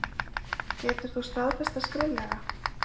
Getur þú staðfest það skriflega?